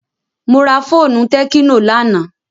Mo ra fóònù tẹ́kínò lánàá.